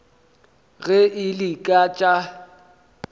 ge e le ka tša